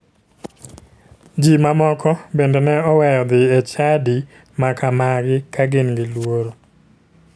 Ji ma moko bende ne oweyo dhi e chadi ma kamagi ka gin gi luoro.